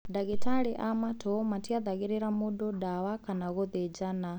Ndagĩtarĩ a matũ matiathagĩrĩra mũndũ ndawa kana gũthĩnjana